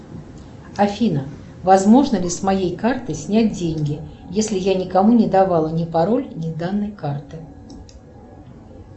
афина возможно ли с моей карты снять деньги если я никому не давала ни пароль ни данные карты